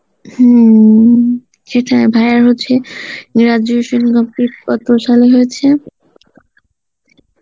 হম সেটাই ভায়া হচ্ছে graduation আপনার কত সাল এ হয়েছে?